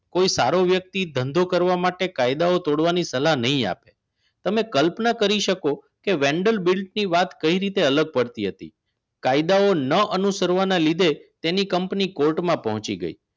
કોઈ સારો વ્યક્તિ ધંધો કરવા માટે કાયદાઓ તોડવાની સલાહ નહિ આપે તમે કલ્પના કરી શકો કે વેન્ડલ બિલ ની વાત કઈ રીતે અલગ પડતી હતી. કાયદાઓ ન અનુસરવાના લીધે તેની કંપની કોર્ટમાં પહોંચી ગઈ